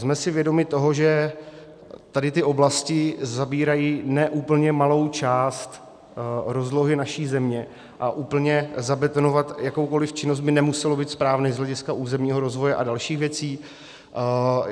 Jsme si vědomi toho, že tady ty oblasti zabírají ne úplně malou část rozlohy naší země a úplně zabetonovat jakoukoliv činnost by nemuselo být správné z hlediska územního rozvoje a dalších věcí.